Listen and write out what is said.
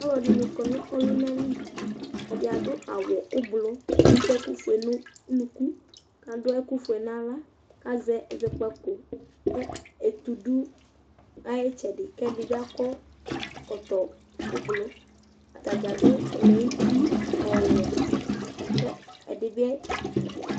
Ɔlɔdɩnɩ kɔ nʋ ɔlʋna li Ɛdɩ adʋ awʋ ʋblʋ, atʋ ɛkʋfue nʋ unuku kʋ adʋ ɛkʋfue nʋ aɣla kʋ azɛ ɛzɔkpǝko kʋ etu dʋ ɩtsɛdɩ kʋ ɛdɩ bɩ akɔ ɛkɔtɔ ʋblʋ Ata dza adʋ ɛlɛnʋti ɔwɛ kʋ ɛdɩ bɩ